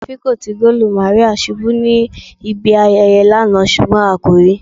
Awọn afikọti goolu Maria ṣubu ni ibi ayẹyẹ lana ṣugbọn a ko rii